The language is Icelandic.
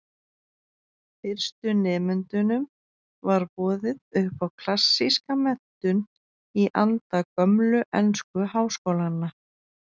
Fyrstu nemendunum var boðið upp á klassíska menntun í anda gömlu ensku háskólanna.